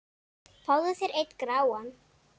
Fáðu þér einn gráan!